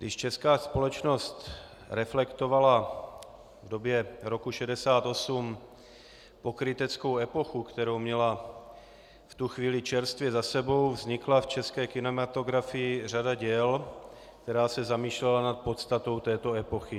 Když česká společnost reflektovala v době roku 1968 pokryteckou epochu, kterou měla v tu chvíli čerstvě za sebou, vznikla v české kinematografii řada děl, která se zamýšlela nad podstatou této epochy.